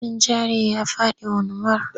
Hannun jarin ya faɗi wanwar.